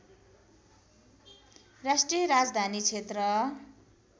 राष्ट्रिय राजधानी क्षेत्र